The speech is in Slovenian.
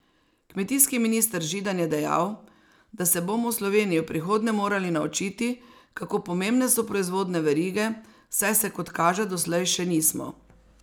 Kmetijski minister Židan je dejal, da se bomo v Sloveniji v prihodnje morali naučiti, kako pomembne so proizvodne verige, saj se kot kaže doslej še nismo.